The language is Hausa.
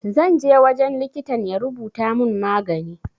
Zanje wajen likitan ya rubuta mun magani